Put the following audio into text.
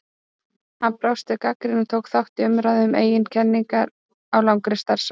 Hann brást við gagnrýni og tók þátt í umræðu um eigin kenningar á langri starfsævi.